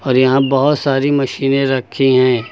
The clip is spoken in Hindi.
और यहां बहोत सारी मशीनें रखीं हैं।